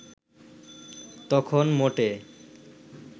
তখন মোটে